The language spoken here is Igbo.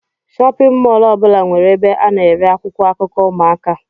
Shóppin mol ọbula nwere ebe ana ere akwụkwọ akụkọ ụmụaka.